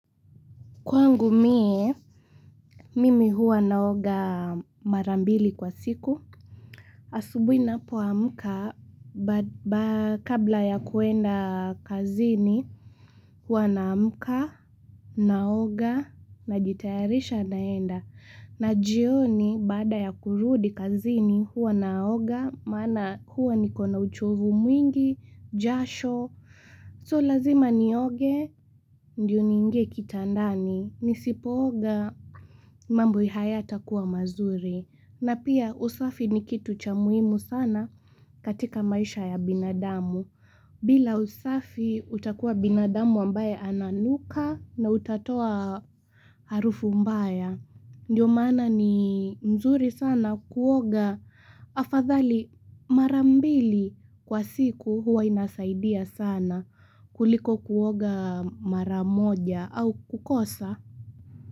Kwangu mie, mimi huwa naoga mara mbili kwa siku. Asubuhi ninapoamka, kabla ya kuenda kazini, huwa na amka, naoga, najitayarisha naenda. Na jioni, baada ya kurudi kazini, huwa naoga, maana huwa nikona uchovu mwingi, jasho, so lazima nioge, ndiyo ni ingie kitandani, nisipooga. Mambo hayatakuwa mazuri na pia usafi ni kitu cha muhimu sana katika maisha ya binadamu. Bila usafi utakuwa binadamu ambaye ananuka na utatoa harufu mbaya. Ndo maana ni mzuri sana kuoga afadhali marambili kwa siku huwa inasaidia sana kuliko kuoga maramoja au kukosa.